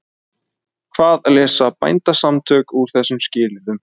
Hvað lesa Bændasamtökin úr þessum skilyrðum?